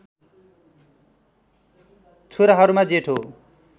छोराहरूमा जेठो